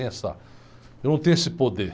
Não tenho essa, eu não tenho esse poder.